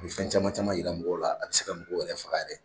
A kun mi fɛn caman caman yira mɔgɔw la, a bi se ka mɔgɔw yɛrɛ faga yɛrɛ